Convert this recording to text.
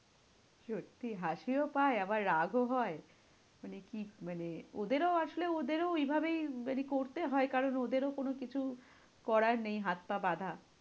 সত্যি হাসিও পায় আবার রাগও হয়। মানে কি মানে ওদেরও আসলে ওদেরও ওইভাবেই মানে করতে হয়ে কারণ ওদেরও কোনো কিছু করার নেই, হাত পা বাঁধা।